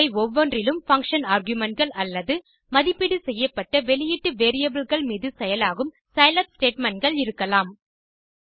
அவை ஒவ்வொன்றிலும் பங்ஷன் argumentகள் அல்லது மதிப்பீடு செய்யப்பட்ட வெளியீட்டு variableகள் மீது செயலாகும் சிலாப் statementகள் இருக்கலாம்